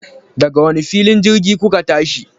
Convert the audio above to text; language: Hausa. Daga wani filin jirgin kuka tashi?